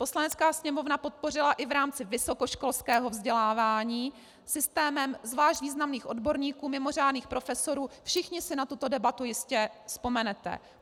Poslanecká sněmovna podpořila i v rámci vysokoškolského vzdělávání systémem zvlášť významných odborníků, mimořádných profesorů - všichni si na tuto debatu jistě vzpomenete.